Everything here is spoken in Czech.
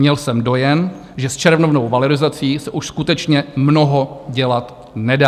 Měl jsem dojem, že s červnovou valorizací se už skutečně mnoho dělat nedá."